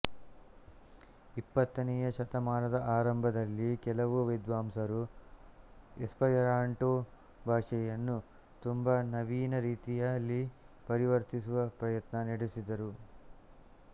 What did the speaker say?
ಇಪ್ಪತ್ತನೆಯ ಶತಮಾನದ ಆರಂಭದಲ್ಲಿ ಕೆಲವು ವಿದ್ವಾಂಸರು ಎಸ್ಪರ್ಯಾಂಟೊ ಭಾಷೆಯನ್ನು ತುಂಬ ನವೀನ ರೀತಿಯಲ್ಲಿ ಪರಿವರ್ತಿಸುವ ಪ್ರಯತ್ನ ನಡೆಸಿದರು